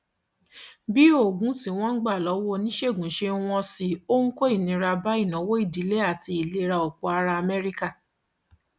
bí oògùn tí wọn ń gbà lọwọ oníṣègùn ṣe ń wọn sí ó ń kó ìnira bá ìnáwó ìdílé àti ìlera ọpọ ará amẹríkà